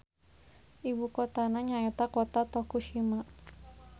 Ibukotana nyaeta Kota Tokushima.